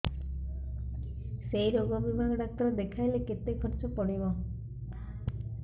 ସେଇ ରୋଗ ବିଭାଗ ଡ଼ାକ୍ତର ଦେଖେଇଲେ କେତେ ଖର୍ଚ୍ଚ ପଡିବ